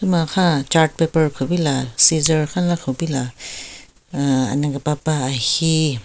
Makhan chart paper kupila scissor khanla kupila ahh ane kapapa ahi--